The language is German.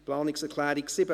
Planungserklärung 7: